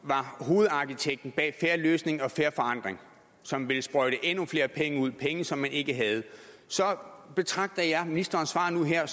var hovedarkitekten bag en fair løsning og fair forandring som ville sprøjte endnu flere penge ud penge som man ikke havde så betragter jeg ministerens svar nu og her